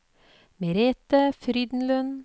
Merethe Frydenlund